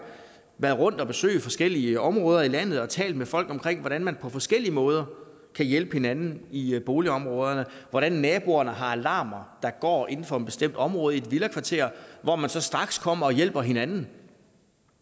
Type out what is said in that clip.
været rundt at besøge forskellige områder i landet og talt med folk om hvordan man på forskellige måder kan hjælpe hinanden i i boligområderne hvordan naboerne har alarmer der går inden for et bestemt område i villakvarteret hvor man så straks kommer og hjælper hinanden